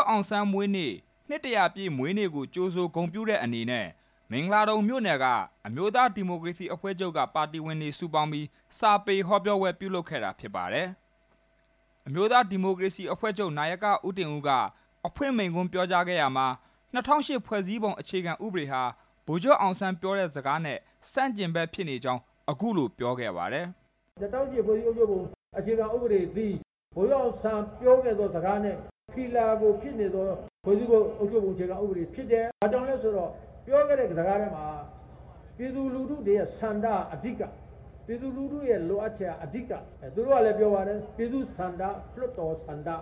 ်အောင်ဆန်း မွေးနေ့ နှစ်တစ်ရာပြည့်မွေးနေ့ကို ကြိုဆိုဂုဏ်ပြုတဲ့ အနေနဲ့ မင်္ဂလာဒုံမြို့နယ်က အမျိုးသားဒီမိုကရေစီအဖွဲ့ချုပ်က ပါတီဝင်တွေစုပေါင်းပြီး စာပေဟောပြောပွဲ ပြုလုပ်ခဲ့တာဖြစ်ပါတယ်။ အမျိုးသားဒီမိုကရေစီအဖွဲ့ချုပ် နာယက ဦးတင်ဦးက အဖွင့်မိန့်ခွန်းပြောကြားခဲ့ရာမှာ ၂၀၀၈ ဖွဲ့စည်းပုံ အခြေခံဥပဒေဟာ ဗိုလ်ချုပ်အောင်ဆန်းပြောတဲ့စကားနဲ့ ဆန့်ကျင်ဖက်ဖြစ်နေကြောင်း အခုလိုပြောခဲ့ပါတယ်။ ဦးတင်ဦး။ ။ ၂၀၀၈ ဖွဲ့စည်းပုံ အခြေခံဥပဒေသည် ဗိုလ်ချုပ်အောင်ဆန်း ပြောတဲ့စကားနဲ့ ဖီလာဆန့်ကျင်တဲ့ ဖွဲ့စည်းပုံအခြေခံဥပဒေဖြစ်တယ်၊ ဘာကြောင့်လဲဆိုတော့ ပြောခဲ့တဲ့ စကားထဲမှာ ပြည်သူလူထုတွေရဲ့ဆန္ဒက အဓိကဖြစ်တယ်၊ ပြည်သူလူထုရဲ့ လိုအပ်ချက်က အဓိကပဲ၊ သူတို့ကလဲပြောပါတယ် ပြည်သ့ူဆန္ဒ၊ လွှတ်တော်ဆန္ဒ၊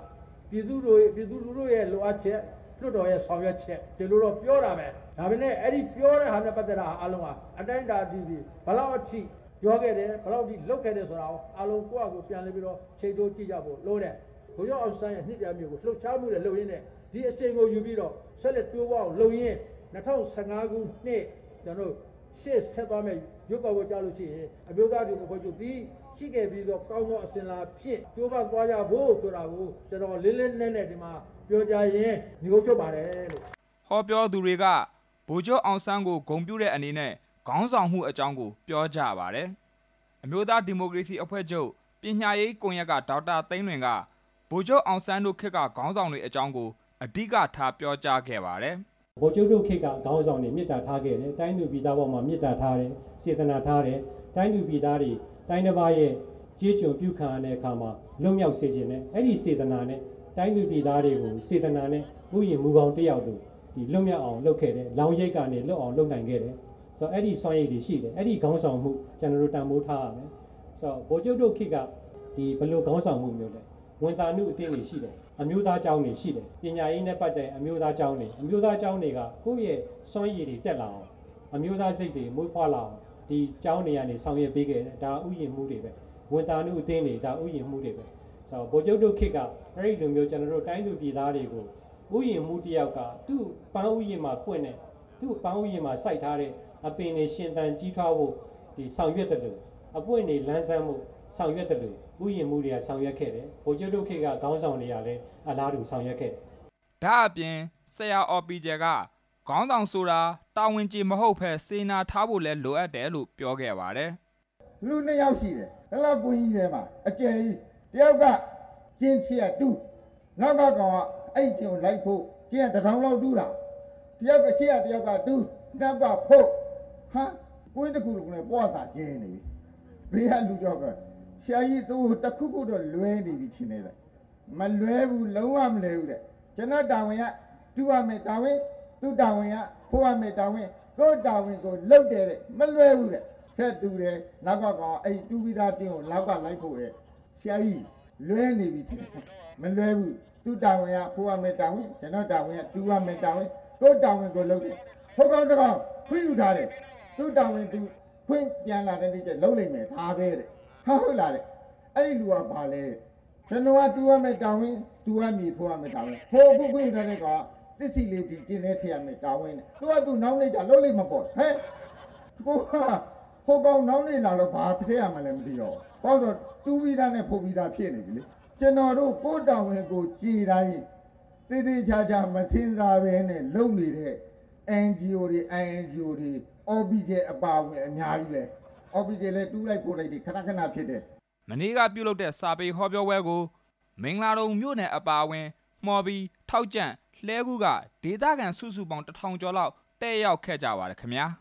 ပြည်သူလူထုရဲ့လိုအပ်ချက်၊ လွှတ်တော်ရဲ့ဆောင်ရွက်ချက် ဒီလိုတော့ပြောတာပဲ၊ ဒါပေမယ့် အဲလိုပြောတဲ့ဟာနဲ့ ပတ်သက်တာအားလုံးက အတိုင်းအတာကြည့်ရင် ဘယ်လောက်ထိပြောခဲ့တယ်၊ ဘယ်လောက်ထိ လုပ်ခဲ့တယ် ဆိုတာကို အားလုံးကိုယ့်ဟာကို ပြန်လည်ပြီးတော့ ကြည့်ကြဖို့လိုတယ်၊ ဗိုလ်ချုပ်အောင်ဆန်းရဲ့ နှစ်တစ်ရာပြည့်ကို လုပ်ရှားမှုတွေလုပ်ရင်းနဲ့ ဒီအရှိန်ကို ယူပြီးတော့ ဆက်လက်တိုးပွားအောင်လုပ်ရင်း ၂၀၁၅ ခုနှစ် ကျနောတို့ရှေ့ဆက်သွားမယ့် ရွေးကောက်ပွဲကျရင် အမျိုးသားဒီမိုကရေစီ အဖွဲ့ချုပ်သည် ရှိခဲ့ပြီးသော ကောင်းသောအဆင်အလာဖြင့် ကြိုးပမ်းသွားကြဖို့ဆိုတာကို ကျနော်လေးလေးနက်နက် ဒီမှာပြောကြားရင်း နိဂုံးချုပ်ပါတယ်။ ဟောပြောသူတွေက ဗိုလ်ချုပ်အောင်ဆန်းကိုဂုဏ်ပြုတဲ့ အနေနဲ့ ခေါင်းဆောင်မှုအကြောင်းကို ပြောကြပါတယ်။ အမျိုးသားဒီမိုကရေစီအဖွဲ့ချုပ် ပညာရေးကွန်ရက်က ဒေါက်တာသိန်းလွင်က ဗိုလ်ချုပ်အောင်ဆန်းတို့ခေတ်က ခေါင်းဆောင်တွေအကြောင်းကို အဓိကထားပြောကြားခဲ့ပါတယ်။ ဒေါက်တာသိန်းလွင်။ ။ ဗိုလ်ချုပ်တို့ခေတ်က ခေါင်းဆောင်တွေ မေတ္တာထားခဲ့တယ်၊ တိုင်းသူပြည်သားအပေါ်မှာ မေတ္တာထားတယ်၊ စေတနာ ထားတယ်၊ တိုင်းသူပြည်သားတွေ တိုင်းတစ်ပါးရဲ့ကျေးကျွန်ပြုခဲ့ရတဲ့အခါမှာ လွတ်မြောက်စေချင်တယ်၊ အဲ့ဒီစေတနာနဲ့ တိုင်းသူပြည်သားတွေကို ဥယာဉ်မှူးကောင်းတစ်ယောက်လို လွတ်မြောက်အောင်လုပ်ခဲ့တယ်၊ လောင်းရိပ်ကနေလွတ်မြောက်အောင် လုပ်ခဲ့တယ် ဆိုတော့ အဲ့ဒီစွမ်းရည်တွေရှိတယ်၊ အဲ့ဒီခေါင်းဆောင်မှု ကျနော်တို့တန်ဖိုးထားရမယ်၊ ဗိုလ်ချုပ်တို့ခေတ်က ဘယ်လိုခေါင်းဆောင်မှုမျိုးလဲ၊ ဝံသာနုအသင်းတွေရှိတယ်၊ အမျိုးသားကျောင်းတွေရှိတယ်၊ ပညာရေးနဲ့ ပတ်သက်ရင် အမျိုးသားကျောင်းတွေရှိတယ်၊ အမျိုးသားကျောင်းဆိုတာက ကိုယ့်ရဲ့စွမ်းရည်တွေတက်လာအောင်၊ အမျိုးသားစိတ်တွေမွေးဖွားလာအောင် ဒီကျောင်းတွေကနေ ဆောင်ရွက်ပေးခဲ့တယ်၊ ဒါဥယျာဉ်မှူးတွေပဲ၊ ဝံသာနုအသင်းတွေ ဒါဥယျာဉ်မှူးတွေပဲ၊ ဗိုလ်ချုပ်တို့ ခေတ်ကအဲ့လိုမျိုး တိုင်းသူပြည်သားတွေကို ဥယျာဉ်မှူးတစ်ယောက်က သူ့ပန်းဥယျာဉ်မှာ စိုက်ထားတဲ့ အပင်တွေရှင်သန်ကြီးထွားဖို့ ဆောင်ရွက်သလို၊ အပွင့်တွေလန်းဆန်းဖို့ ဆောင်ရွက်သလို ဥယျာဉ်မှူးတွေက ဆောင်ရွက်ခဲ့တယ်၊ ဗိုလ်ချုပ်တို့ ခေတ်ကခေါင်းဆောင်တွေကလဲ အလားတူဆောင်ရွက်ခဲ့တယ်။ ဒါ့ပြင် ဆရာအော်ပီကျယ်က ခေါင်းဆောင်ဆိုတာ တာဝန်ကျေမဟုတ်ပဲ စေတနာထားဖို့လဲ လိုအပ်တယ်လို့ ပြောခဲ့ပါတယ်။ ဆရာအော်ပီကျယ်။ ။ လူနှစ်ယောက်ရှိတယ်၊ ဒီလောက်ကွင်းကြီးထဲမှာ အကျယ်ကြီး တစ်ယောက်က ရှေ့ကတူး၊ နောက်ကကောင်က အဲ့ကျွင်းကို လိုက်ဖို့ တစ်တောင်လောက်တူးတာ၊ ဒီတော့ရှေ့ကတူး၊ နောက်ကဖို့၊ ကွင်းတစ်ခုလုံးလဲ မွစာကျဲနေပြီ၊ ဘေးကလူတစ်ယောက်က ဆရာကြီးတို့ တစ်ခုခုတော့ လွဲနေပြီထင်တယ်၊ မလွဲဘူး၊ လုံးဝမလွဲဘူးတဲ့၊ ကျနော်တာဝန်က တူးရမယ့် တာဝန်၊ သူ့တာဝန်က ဖို့ရမယ့်တာဝန်၊ ကိုယ့်တာဝန်ကိုယ်လုပ်တယ် မလွဲဘူးတဲ့၊ ဆက်တူးတယ်၊ နောက်က ကောင်က တူးတဲ့ ကျွင်းကိုလိုက်ဖို့တယ်၊ ဟိုကောင်တစ်ကောင် ခွင့်ယူထားတယ်၊ သူ့တာဝန်သူ ခွင့်ပြန်လာတဲ့ နေ့ကျရင်လုပ်လိမ့်မယ်၊ ဒါပဲတဲ့၊ ဟာ..ဟုတ်လားသူ့တာဝန်က ဘာလဲတဲ့၊ ကျနော်ကတူးရမယ့် တာဝန်၊သူကမြေဖို့ရမယ့် တာဝန်၊ ဟိုခွင့်ယူထားတဲ့ တာဝန်က သစ်စေ့လေးကို ကျွင်းထဲထည့်ရမယ့်တာဝန်၊ သူ့ဟာသူနောက်နေ့ကျတော့ လုပ်လိမ့်မှာပေါ့တဲ့၊ ဟိုကောင်နောက်နေ့လာတော့ ဘာထည့်ရမှန်းမသိတော့ဘူး၊ ဟိုကောင်နောက်နေ့လာတော့ တူးပြီးသားနဲ့ ဖို့ပြီးသားဖြစ်နေပြီလေ၊ ကျနော်တို့ ကိုယ့်တာဝန်ကိုယ်ကျေတိုင်း သေသေချာချာမစဉ်းစားပဲနဲ့ လုပ်နေတဲ့ NGO တွေ၊ INGO တွေ၊ အော်ပီကျယ်အပါအဝင် အများကြီးပဲ၊ အော်ပီကျယ်လဲ တူးလိုက်ဖို့လိုက် ခန ခန ဖြစ်တယ်။ မနေ့ကပြုလုပ်တဲ့ စာပေဟောပြောပွဲကို မင်္ဂလာဒုံမြို့နယ်အပါအဝင် မှော်ဘီ၊ ထောက်ကြန့်၊ လှည်းကူးက ဒေသခံစုစုပေါင်း တစ်ထောင်ကျော်လောက်တက်ရောက်ခဲ့ကြပါတယ်ခင်ဗျာ။